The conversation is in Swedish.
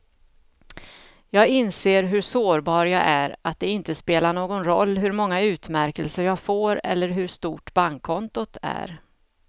Jag inser hur sårbar jag är, att det inte spelar någon roll hur många utmärkelser jag får eller hur stort bankkontot är.